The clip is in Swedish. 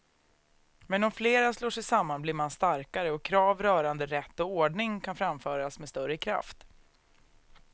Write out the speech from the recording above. Men om flera slår sig samman blir man starkare och krav rörande rätt och ordning kan framföras med större kraft.